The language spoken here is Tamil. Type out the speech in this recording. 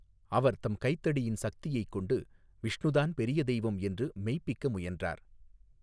அவர் தம் கைத்தடியின் சக்தியைக் கொண்டு விஷ்ணுதான் பெரிய தெய்வம் என்று மெய்ப்பிக்க முயன்றார்.